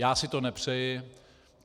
Já si to nepřeji.